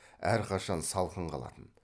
әрқашан салқын қалатын